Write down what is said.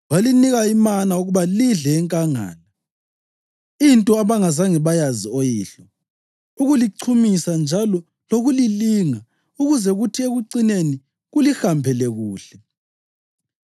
Walinika imana ukuba lidle enkangala, into abangazange bayazi oyihlo, ukulichumisa njalo lokulilinga ukuze kuthi ekucineni kulihambele kuhle.